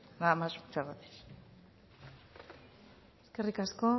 nada más muchas gracias eskerrik asko